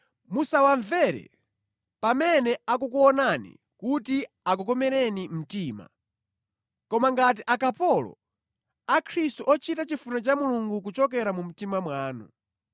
Musawamvere pamene akukuonani kuti akukomereni mtima, koma ngati akapolo a Khristu ochita chifuniro cha Mulungu kuchokera mu mtima mwanu.